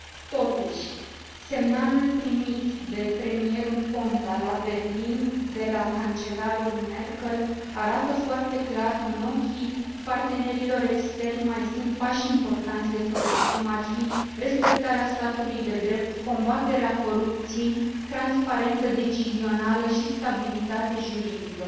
Totuși, semnalul primit de premierul Ponta la Berlin, de la cancelarul Merkel arată foarte clar că, în ochii partenerilor externi, mai sunt pași importanți de făcut, cum ar fi respectarea statului de drept, combaterea corupției, transparență decizională și stabilitate juridică.